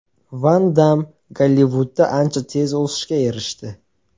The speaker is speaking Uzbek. Van Damm Gollivudda ancha tez o‘sishga erishdi.